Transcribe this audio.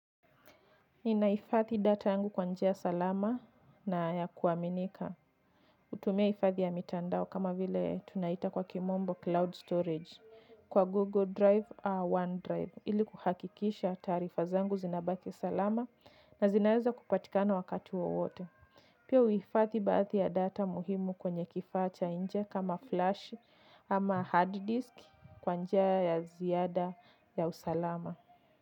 Ninahifadhi data yangu kwa njia salama na ya kuaminika. Hutumia hifadhi ya mitandao kama vile tunaita kwa kimombo cloud storage kwa Google Drive au OneDrive ili kuhakikisha taarifa zangu zinabaki salama na zinaweza kupatikana wakati wowote. Pia huhifadhi baadhi ya data muhimu kwenye kifaa cha nje kama flash ama hard disk kwa njia ya ziada ya usalama.